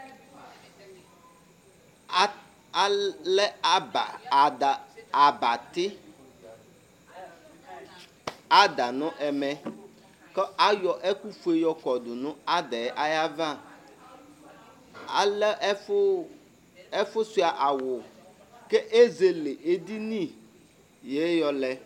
Allɛ aba ada, abati ada nʋ ɛmɛ, kʋ ayɔ ɛkʋ fue yɔkɔ dʋ nʋ ada yɛ ayava Alɛ ɛfʋ ɛfʋsua awʋ k'ezele edini yɛ yɔlɛ